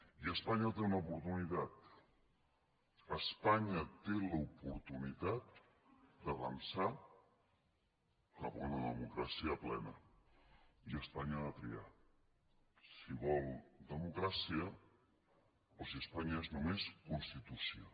i espanya té una oportunitat espanya té l’oportunitat d’avançar cap a una democràcia plena i espanya ha de triar si vol democràcia o si espanya és només constitució